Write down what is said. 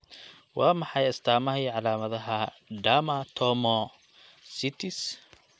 Waa maxay astaamaha iyo calaamadaha Dermatomyositis?